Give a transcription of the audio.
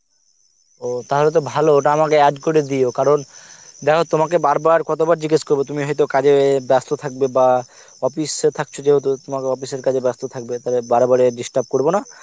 ও তাহলে তো ভালো ওটা আমাকে add করে দিও কারণ দেখো তোমাকে বারবার কতবার জিজ্ঞেস করবো তুমি তো কাজে ব্যাস্ত থাকবে বা office এ থাকছ যেহেতু তোমাকে office এর কাজে ব্যাস্ত থাকবে তাহলে বারে বারে disturb করবো না